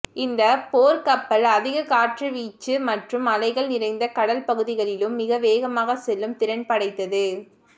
இந்த போர்க்கப்பல் அதிக காற்று வீச்சு மற்றும் அலைகள் நிறைந்த கடல் பகுதிகளிலும் மிக வேகமாக செல்லும் திறன் படைத்தது